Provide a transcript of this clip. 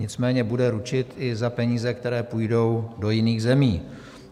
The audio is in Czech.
Nicméně bude ručit i za peníze, které půjdou do jiných zemí.